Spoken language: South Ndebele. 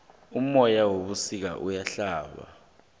umoya webusika uyahlaba